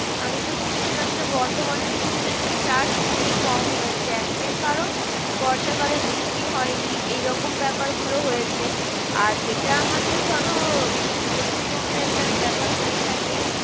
আমি তো শুনছিলাম যে, বর্ধমানের দিকে নাকি চাষ খুবই কম হয়েছে একটাই কারণ বর্ষাকালে বৃষ্টি হয়নি। এরকম ব্যাপার গুলো হয়েছে আর যেটা আমাদের ধরো পশ্চিমবঙ্গর একটা ব্যাপার হয়ে থাকে